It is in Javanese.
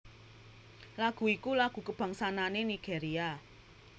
Lagu iku lagu kabangsanane Nigeria